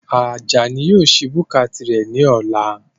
Ajani yóò sí búkà tirẹ̀ ní ọ̀la